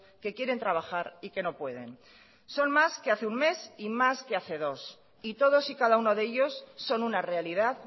que quieren trabajar y que no pueden son más que hace un mes y más que hace dos y todos y cada uno de ellos son una realidad